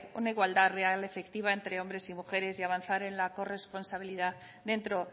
una igualdad real y efectiva entre hombres y mujeres y avanzar en la corresponsabilidad dentro